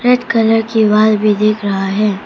Colour की wall दिख रहा है।